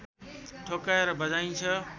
ठोक्काएर बजाइन्छ